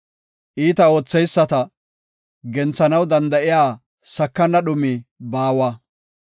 Iita ootheyisata, genthanaw danda7iya sakana dhumi baawa.